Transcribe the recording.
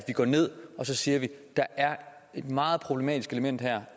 der er et meget problematisk element her